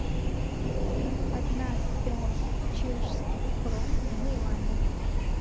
одна пять чешских крон в юанях